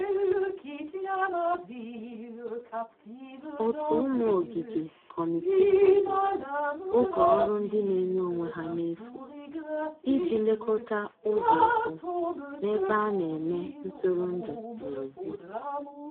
ótu ụmụ ogige/ Kọmitịị hazịrị oge ọrụ ndi n'enye onwe ha n'efu ịji lekota ụzo ụkwụ n'ebe ana eme ntụrụndụ n'ezi